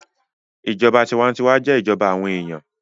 Ìjọba tinwatinwa jẹ́ ìjọba àwọn èèyàn